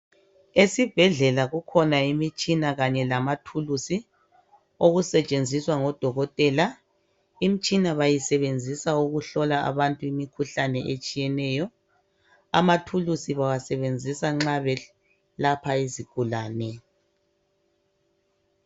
Esibhedlela kukhona imitshina Kanye lamathuluzi okusetshenziswa ngodokotela. Imitshina bayisebenzisa ukuhlola abantu imikhuhlane etshiyeneyo. Amathuluzi bawasebenzisa nxa belapha izigulane.